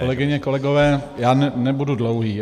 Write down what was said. Kolegyně, kolegové, já nebudu dlouhý.